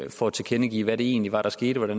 for at tilkendegive hvad det egentlig var der skete og